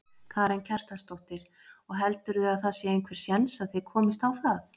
Karen Kjartansdóttir: Og heldurðu að það sé einhver séns að þið komist á það?